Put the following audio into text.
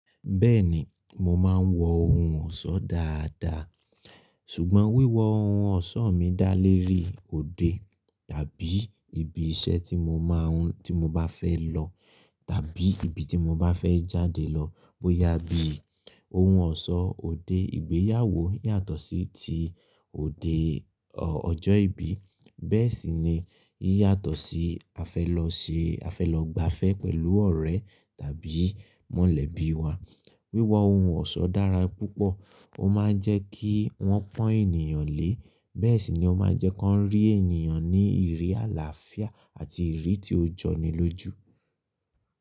Bẹ́ẹ̀ni mo máa ń wọ ohun ọ̀ṣọ́ dáadáa. Ṣùgbọ́n wíwọ ohun ọ̀ṣọ́ mi dá léèrí òde tàbí ibi iṣẹ́ tí mo máa ń tí mo bá fẹ́ lọ tàbí ibi tí mo bá fẹ́ jáde lọ bó yá bí ohun ọ̀ṣọ́ òde ìgbéyàwó yàtọ̀ sí ti òde o ọjọ́ ìbí. Bẹ́ẹ̀ sì ni yí yàtọ̀ sí a fẹ́ lọ ṣe a fẹ́ lọ gbafẹ́ pẹ̀lú ọ̀rẹ́ tàbí mọ̀lẹ́bí wa. Wíwọ ohun ọ̀ṣọ́ dára púpọ̀, ó máa ń jẹ́ kí wọ́n pọ́n ènìyàn lé. Bẹ́ẹ̀ sì ni ó máa ń jẹ́ kí won rí ènìyàn ní ìrí àlàáfíà àti ìrí tí ó jọni lójú.